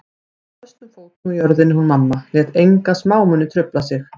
Stóð föstum fótum á jörðinni hún mamma, lét enga smámuni trufla sig.